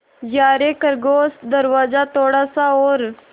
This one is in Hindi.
यारे खरगोश दरवाज़ा थोड़ा सा और